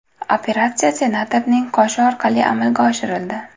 Operatsiya senatorning qoshi orqali amalga oshirildi.